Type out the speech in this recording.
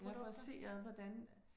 Ja, for at se ad hvordan